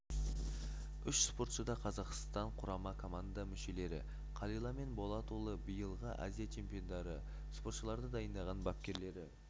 үш спортшы да қазақстан құрама команда мүшелері қалила мен болатұлы биылғы азия чемпиондары спортшыларды дайындаған бапкерлері